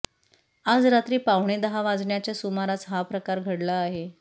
आज रात्री पावणे दहा वाजण्याच्या सुमारास हा प्रकार घडला आहे